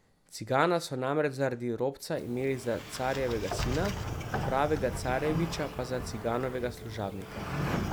Cigana so namreč zaradi robca imeli za carjevega sina, pravega carjeviča pa za Ciganovega služabnika.